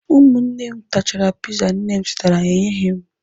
Ụmụnne m tachara piza nne m zụtara enyeghị m